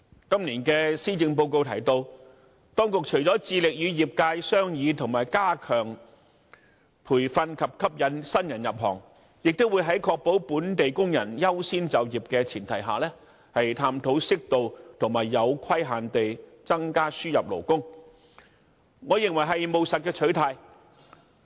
今年的施政報告提到，當局除了致力與業界商議如何加強培訓及吸引新人入行外，亦會在確保本地工人優先就業的前提下，探討適度和有規限地增加輸入勞工，我認為是務實的取態。